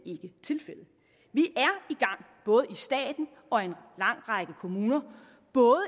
ikke tilfældet vi er i gang både staten og en lang række kommuner både